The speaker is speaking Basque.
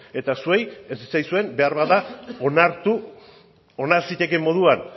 eta zuei ez zitzaizuen beharbada onartu zitekeen moduan